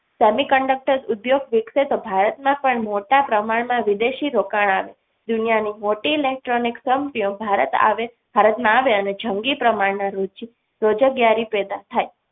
Semiconductor ઉદ્યોગ વધે તો ભારત માં પણ મોટા પ્રમાણમાં વિદેશી રોકાણ આવે દુનિયાની મોટી electronics સંપીઓ ભારત આવે ભારતમાં આવે અને જંગી પ્રમાણ માં રુચિ પેદા થાય.